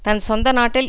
தன் சொந்த நாட்டில்